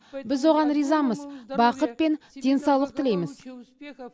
біз оған ризамыз бақыт пен денсаулық тілейміз